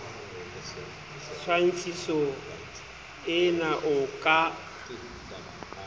tshwantshiso ee na o ka